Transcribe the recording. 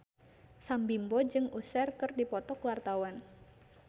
Sam Bimbo jeung Usher keur dipoto ku wartawan